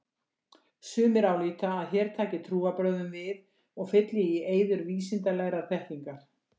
Sumir álíta að hér taki trúarbrögðin við og fylli í eyður vísindalegrar þekkingar.